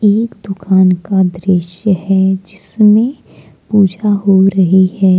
एक दुकान का दृश्य है जिसमे पूजा हो रही है।